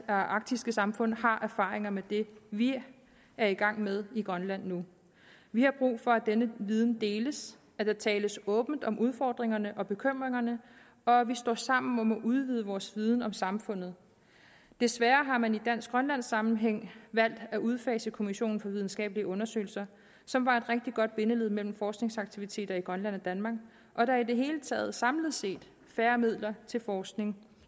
arktiske samfund har erfaringer med det vi er i gang med i grønland nu vi har brug for at denne viden deles at der tales åbent om udfordringerne og bekymringerne og at vi står sammen om at udvide vores viden om samfundet desværre har man i dansk grønlandsk sammenhæng valgt at udfase kommissionen for videnskabelige undersøgelser som var et rigtig godt bindeled mellem forskningsaktiviteter i grønland og danmark og der er i det hele taget samlet set færre midler til forskning